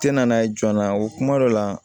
Tɛ na n'a ye joona o kuma dɔ la